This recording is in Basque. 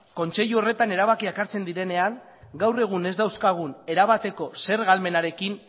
kontseilu horretan erabakiak hartzen direnean gaur egun ez dauzkagun erabateko zerga ahalmenarekin